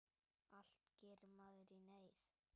Allt gerir maður í neyð.